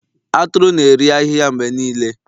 Atụrụ na-eri ahịhịa mgbe niile